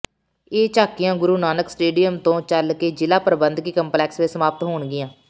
ਇਹ ਝਾਕੀਆਂ ਗੁਰੂ ਨਾਨਕ ਸਟੇਡੀਅਮ ਤੋਂ ਚੱਲ ਕੇ ਜ਼ਿਲ੍ਹਾ ਪ੍ਰਬੰਧਕੀ ਕੰਪਲੈਕਸ ਵਿੱਚ ਸਮਾਪਤ ਹੋਣਗੀਆਂ